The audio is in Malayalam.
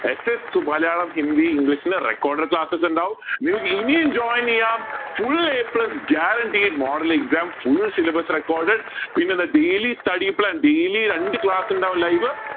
ss Malayalam Hindi english recorded classes ഇണ്ടാവും നിങ്ങൾക്ക് ഇനിയും join ചെയ്യാം full a plus guaranteed model exam full syllabus recorded പിന്നെന്താ daily study plan daily രണ്ട് class ഇണ്ടാവും live